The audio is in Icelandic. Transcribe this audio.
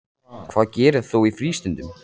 Hvað gerir þú í frístundum?